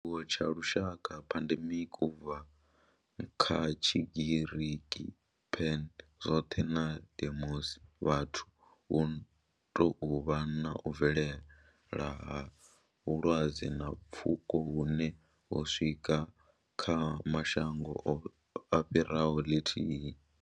Tshiwo tsha lushaka pandemic, u bva kha Tshigiriki pan, zwothe na demos, vhathu hu tou vha u bvelela ha vhulwadze ha pfuko hune ho swika kha mashango a fhiraho ḽithihi.